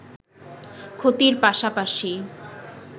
ক্ষতির পাশাপাশি